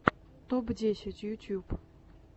топ десять ютюб